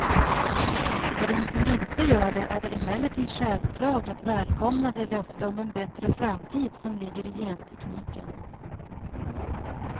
För den som inte gör det är det emellertid självklart att välkomna det löfte om en bättre framtid som ligger i gentekniken.